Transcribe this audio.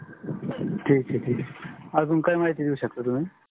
ठीक है ठीक है. अजुन काया महिति देउ शकता तुहमी